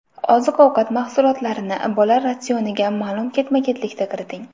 Oziq-ovqat mahsulotlarini bola ratsioniga ma’lum ketma-ketlikda kiriting.